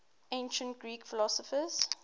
ancient greek philosophers